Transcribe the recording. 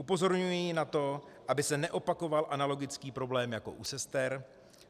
Upozorňují na to, aby se neopakoval analogický problém jako u sester.